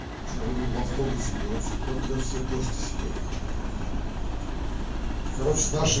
ща еду в автобусе короче протрес все кости себе короче наши